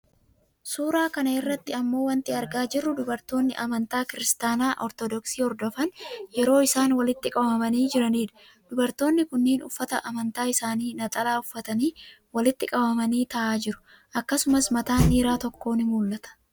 Suuraa kana irratti immoo wanti argaa jirru dubartooni amantaa Kiristaanaa Ortodoksii hordofan yeroo isaan walitti qabamanii jiranii dha. Dubartoonni kunniin uffata amantaa isaanii ,naxalaa, uffatanii walitti qabamanii taa'aa jiru. Akkasumas mataan dhiira tokkoo ni mul'ata.